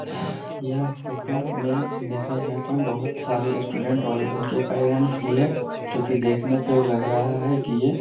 यह फोटो में देखा जाए तो बहुत सारे स्टूडेंट्स और उनके पैरेंट्स भी है जो कि देखने से लग रहा है की ये --